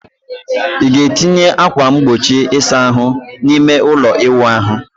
ị ga-etinye ákwà mgbochi ịsa ahụ n'ime ime ụlọ ịwụ ahụ?